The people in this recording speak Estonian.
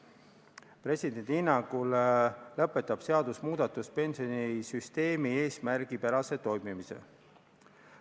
Presidendi hinnangul lõpetab seaduse muutmine pensionisüsteemi eesmärgipärase toimimise.